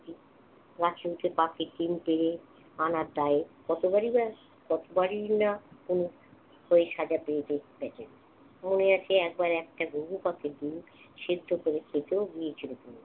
গাছে উঠে পাখির ডিম পেড়ে আনার দায়ে কতবারই বা~ কতবারই না তনু ওই সাজা পেয়ে মনে আছে একবার একটা ঘুঘু পাখির ডিম সিদ্ধ করে খেতেও গিয়েছিল তনু।